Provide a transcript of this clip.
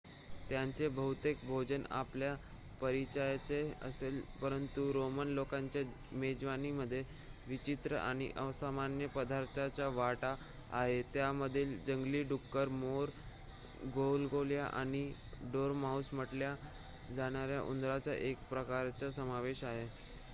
त्यांचे बहुतेक भोजन आपल्या परिचयाचे असेल परंतु रोमन लोकांच्या मेजवानीमध्ये विचित्र आणि असामान्य पदार्थ्यांचा वाटा आहे त्यामध्ये जंगली डुक्कर मोर गोगलगाय आणि डोरमाउस म्हटल्या जाणाऱ्या उंदराच्या एका प्रकाराचा समावेश आहे